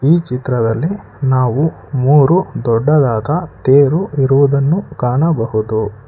ಈ ಚಿತ್ರದಲ್ಲಿ ನಾವು ಮೂರು ದೊಡ್ಡದಾದ ತೇರು ಇರುವುದನ್ನು ಕಾಣಬಹುದು.